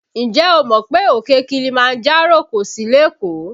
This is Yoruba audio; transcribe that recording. Ǹjẹ́ o mọ̀ pé òkè Kilimanjaro kò sí lékòó?